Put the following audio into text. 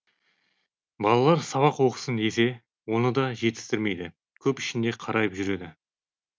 балалар сабақ оқысын десе оны да жетістірмейді көп ішінде қарайып жүреді